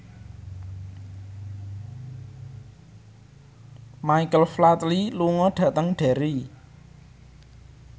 Michael Flatley lunga dhateng Derry